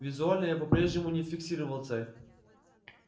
визуально я по-прежнему не фиксировал цель